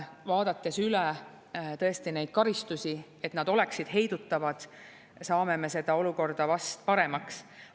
Vaadates üle neid karistusi, et nad tõesti oleksid heidutavad, saame me seda olukorda vast paremaks teha.